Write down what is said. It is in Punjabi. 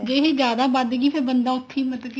ਜੇ ਇਹ ਜਿਆਦਾ ਵਧ ਗਈ ਫ਼ੇਰ ਬੰਦਾ ਉੱਥੇ ਹੀ ਮਤਲਬ ਕੇ